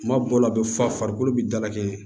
Kuma dɔw la a be fa farikolo bi dalakɛɲɛ